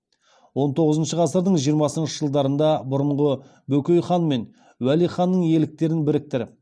он тоғызыншы ғасырдың жиырмасыншы жылдарында бұрынғы бөкей хан мен уәли ханның иеліктерін біріктіріп